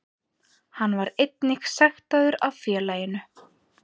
Hann var einnig sektaður af félaginu